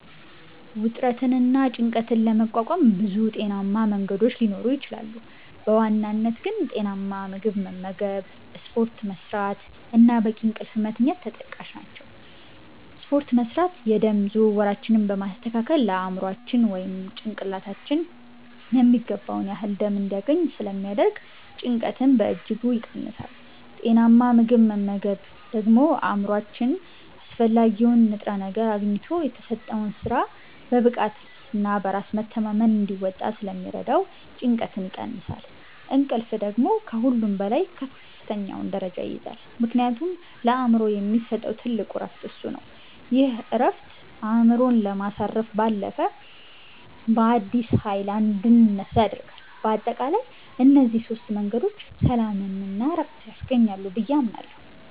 ውጥረትንና ጭንቀትን ለመቋቋም ብዙ ጤናማ መንገዶች ሊኖሩ ይችላሉ፤ በዋናነት ግን ጤናማ ምግብ መመገብ፣ ስፖርት መስራት እና በቂ እንቅልፍ መተኛት ተጠቃሽ ናቸው። ስፖርት መስራት የደም ዝውውራችንን በማስተካከል ለአእምሯችን (ጭንቅላታችን) የሚገባውን ያህል ደም እንዲያገኝ ስለሚያደርግ ጭንቀትን በእጅጉ ይቀንሳል። ጤናማ ምግብ መመገብ ደግሞ አእምሯችን አስፈላጊውን ንጥረ ነገር አግኝቶ የተሰጠውን ሥራ በብቃትና በራስ መተማመን እንዲወጣ ስለሚረዳው ጭንቀትን ይቀንሳል። እንቅልፍ ደግሞ ከሁሉም በላይ ከፍተኛውን ደረጃ ይይዛል፤ ምክንያቱም ለአእምሮ የሚሰጠው ትልቁ ዕረፍት እሱ ነው። ይህ ዕረፍት አእምሮን ከማሳረፍ ባለፈ፣ በአዲስ ኃይል እንድንነሳ ያደርገናል። በአጠቃላይ እነዚህ ሦስት መንገዶች ሰላምና ዕረፍት ያስገኛሉ ብዬ አምናለሁ።